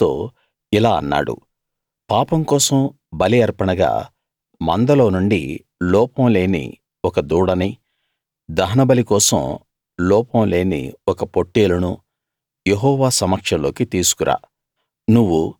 అహరోనుతో ఇలా అన్నాడు పాపం కోసం బలి అర్పణగా మందలో నుండి లోపం లేని ఒక దూడనీ దహనబలి కోసం లోపం లేని ఒక పొట్టేలునూ యెహోవా సమక్షంలోకి తీసుకు రా